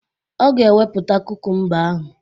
Ọ ga ewepụta kukumba ahụ